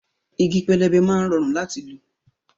Igi pẹlẹbẹ máa ń rọrùn láti lò